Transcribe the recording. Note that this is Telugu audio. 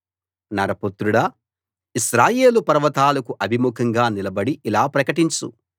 నరపుత్రుడా ఇశ్రాయేలు పర్వతాలకు అభిముఖంగా నిలబడి ఇలా ప్రకటించు